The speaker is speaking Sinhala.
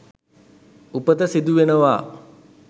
උපත සිදු වෙනවා.